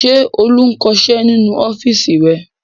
Ṣé Olú ń kọṣẹ́ nínú ọ́fíísì rẹ̀?